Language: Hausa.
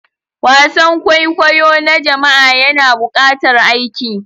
Wasan kwaikwayo na jama'a yana buƙatar aiki.